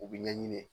U bi ɲɛɲini